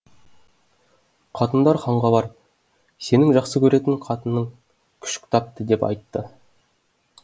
қатындар ханға барып сенің жақсы көретін қатының күшік тапты деп айтты